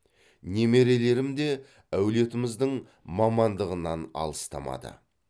немерелерім де әулетіміздің мамандығынан алыстамады